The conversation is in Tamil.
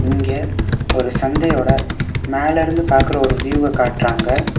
இங்க ஒரு சந்தையோட மேலருந்து பாக்குற ஒரு வியூவ காட்றாங்க.